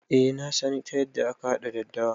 Eh nasan ta yanda aka haɗa daddawa